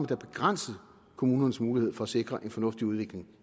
da begrænset kommunernes mulighed for at sikre en fornuftig udvikling